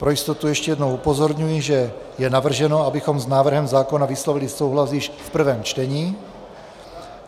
Pro jistotu ještě jednou upozorňuji, že je navrženo, abychom s návrhem zákona vyslovili souhlas již v prvém čtení.